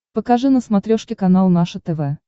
покажи на смотрешке канал наше тв